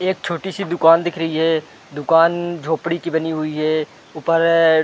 एक छोटी सी दुकान दिख रही है दुकान झोपड़ी की बनी हुई है ऊपर --